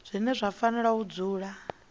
zwine zwa fanela u dzula